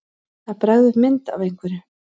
Að bregða upp mynd af einhverju